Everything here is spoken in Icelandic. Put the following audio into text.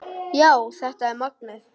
Já, þetta er magnað.